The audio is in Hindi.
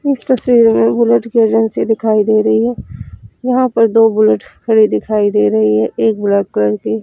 इस तस्वीर मे बुलेट की एजेंसी दिखाई दे रही है यहां पर दो बुलेट खड़ी दिखाई दे रही है एक ब्लैक कलर की--